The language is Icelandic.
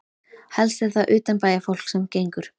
Helst er það utanbæjarfólk sem gengur.